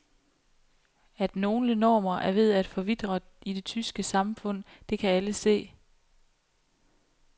At nogle normer er ved at forvitre i det tyske samfund, det kan alle se.